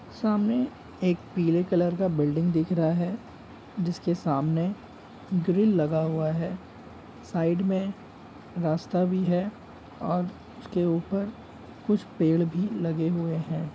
सामने एक पीले कलर का बिल्डिंग दिख रहा है। जिसके सामने ग्रिल लगा हुआ है। साइड मे रास्ता भी है और उसके ऊपर कुछ पेड़ भी लगे हुए हैं।